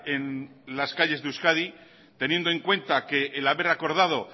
en las calles de euskadi teniendo en cuenta que el haber acordado